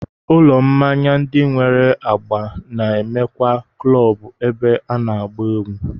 Ụlọ mmanya ndị nwere agba na-enwekwa klọọbụ ebe a na-agba egwú